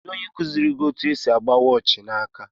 Kedụ ónyé kuziri gị etu esị agba waachi na áká.